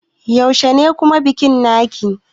Yaushe ne kamun bikin naki?